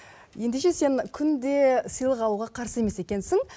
ендеше сен күнде сыйлық алуға қарсы емес екенсің